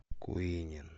куинен